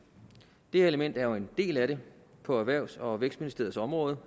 det her element er jo en del af det på erhvervs og vækstministerens område